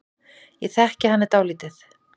Ég þekki hana dálítið.